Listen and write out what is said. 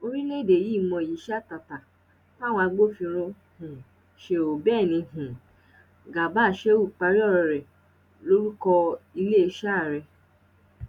orílẹèdè yìí mọyì iṣẹ àtàtà táwọn agbófinró um ṣe ó bẹ́ẹ̀ ni um garba shehu parí ọ̀rọ̀ọ rẹ̀ lórúkọ iléeṣẹ́ ààrẹ